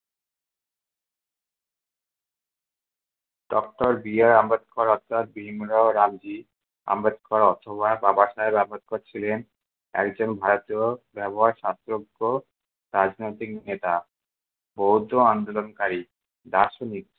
doctor B R Ambedkar অর্থাৎ ভীমরাও রামজি আম্বেদকর অথবা বাবাসাহেব আম্বেদকর ছিলেন একজন ভারতীয় ব্যবহার শাস্ত্রজ্ঞ রাজনৈতিক নেতা আন্দোলনকারী দার্শনিক।